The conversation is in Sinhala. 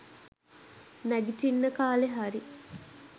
නැගිටින්න කාලෙ හරි.